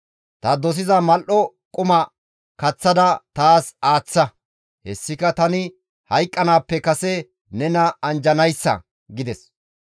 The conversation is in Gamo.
Ta dosiza mal7o quma kaththada taas aaththa; hessika tani hayqqanaappe kase nena anjjanaassa» gides.